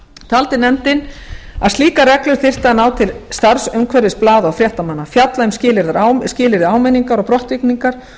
taldi nefndin að slíkar reglur þyrftu að ná til starfsumhverfis blaða og fréttamanna fjalla um skilyrði áminningar og brottvikningar og